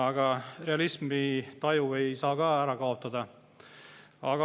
Aga realismitaju ei saa ka ära kaotada.